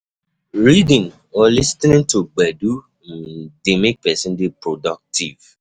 Reading or lis ten ing to gbedu um dey make person dey productive